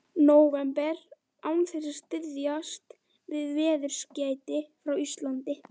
nóvember án þess að styðjast við veðurskeyti frá Íslandi.